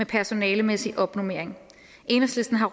personalemæssig opnormering enhedslisten har